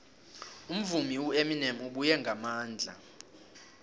umvumi ueminem ubuye ngamandla